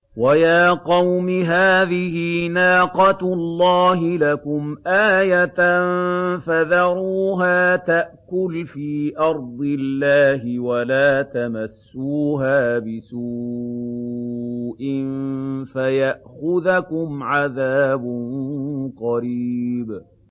وَيَا قَوْمِ هَٰذِهِ نَاقَةُ اللَّهِ لَكُمْ آيَةً فَذَرُوهَا تَأْكُلْ فِي أَرْضِ اللَّهِ وَلَا تَمَسُّوهَا بِسُوءٍ فَيَأْخُذَكُمْ عَذَابٌ قَرِيبٌ